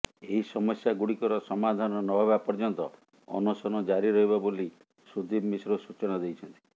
ଏହି ସମସ୍ୟାଗୁଡିକର ସମାଧାନ ନହେବା ପର୍ଯ୍ୟନ୍ତ ଅନଶନ ଜାରି ରହିବ ବୋଲି ସୁଦୀପ ମିଶ୍ର ସୂଚନା ଦେଇଛନ୍ତି